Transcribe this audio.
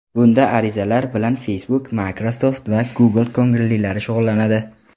Bunda arizalar bilan Facebook, Microsoft va Google ko‘ngillilari shug‘ullanadi.